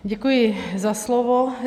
Děkuji za slovo.